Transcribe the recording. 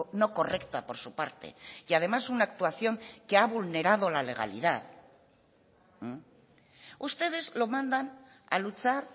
no correcta por su parte y además una actuación que ha vulnerado la legalidad ustedes lo mandan a luchar